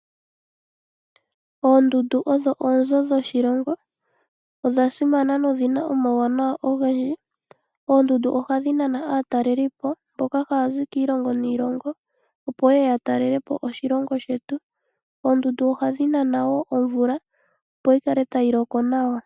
Oondundu odho oonzo dhoshilongo, odha simana nodhina omauwanawa ogendji. Oondundu ohadhi nana aatalelipo mboka haya zi kiilongo niilongo opo yeye ya talelepo oshilongo shetu. Oondundu ohadhi nana wo omvula opo yi kale tayi loko nawa.